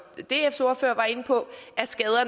dfs ordfører var inde på